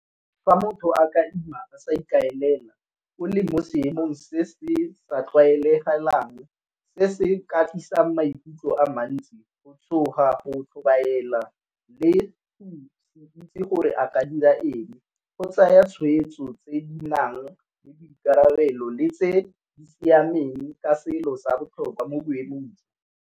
Fa motho a ka ima a sa ikaelela o le mo seemong se se sa tlwaelegalang se se ka tlisang maikutlo a mantsi go tshoga, go tlhobaela, le go se itse gore a ka dira eng. Go tsaya tshweetso tse di nang le boikarabelo le tse di siameng ka selo sa botlhokwa mo boemong jo.